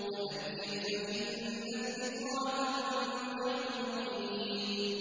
وَذَكِّرْ فَإِنَّ الذِّكْرَىٰ تَنفَعُ الْمُؤْمِنِينَ